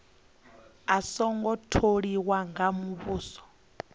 a songo tholiwa nga muvhuso